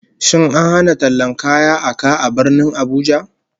Shin an hana tallan kaya a ka a Birnin Abuja?